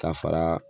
Ka fara